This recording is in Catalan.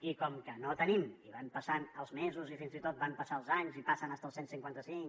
i com que no el tenim i van passant els mesos i fins i tot van passant els anys i passa fins i tot el cent i cinquanta cinc